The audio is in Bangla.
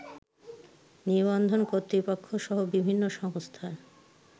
নিবন্ধন কর্তৃপক্ষসহ বিভিন্ন সংস্থার